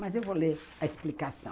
Mas eu vou ler a explicação.